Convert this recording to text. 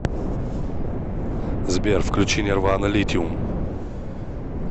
сбер включи нирвана литиум